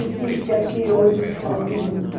Existe aqui outros povos junto.